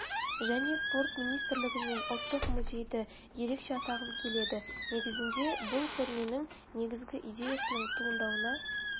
және спорт министрлігі мен ұлттық музейді ерекше атағым келеді неігізінде бұл көрменің негізгі идеясының туындауына